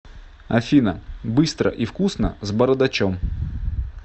афина быстро и вкусно с бородачом